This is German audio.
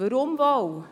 Warum wohl?